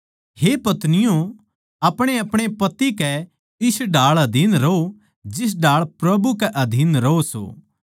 हे पत्नियों अपणेअपणे पति कै इस ढाळ अधीन रहो जिस ढाळ प्रभु के अधीन रहो सों